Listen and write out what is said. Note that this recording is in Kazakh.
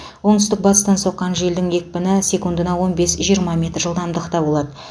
оңтүстік батыстан соққан желдің екпіні секундына он бес жиырма метр жылдамдықта болады